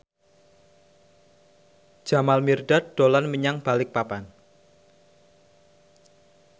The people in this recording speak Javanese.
Jamal Mirdad dolan menyang Balikpapan